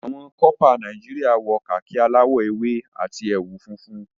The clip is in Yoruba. Àwọn corper Nàìjíríà wọ khaki aláwò ewé àti ẹwù funfun.